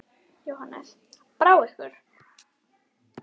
Jóhannes: Brá ykkur?